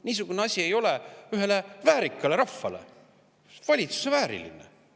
Niisugune asi valitsuses ei ole vääriline, üks väärikas rahvas.